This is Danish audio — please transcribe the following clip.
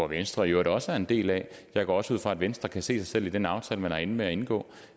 venstre jo også er en del af og jeg går også ud fra at venstre kan se sig selv i den aftale man er endt med at indgå